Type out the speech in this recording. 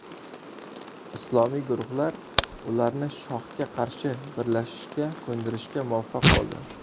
Islomiy guruhlar ularni shohga qarshi birlashishga ko‘ndirishga muvaffaq bo‘ldi.